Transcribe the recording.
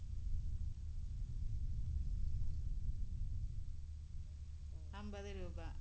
അമ്പത് രൂപ.